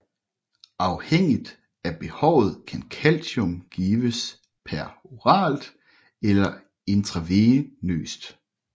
Afhængigt af behovet kan calcium gives peroralt eller intravenøst